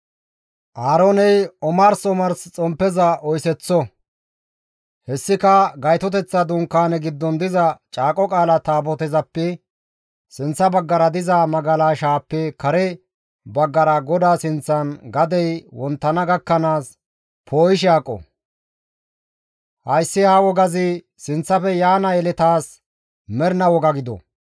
Aarooney omars omars xomppeza oyseththo; hessika Gaytoteththa Dunkaaneza giddon diza Caaqo Qaala Taabotazappe sinththa baggara diza magalashaappe kare baggara GODAA sinththan gadey wonttana gakkanaas poo7ishe aqo; hayssi ha wogazi sinththafe yaana yeletaas mernaa woga gido.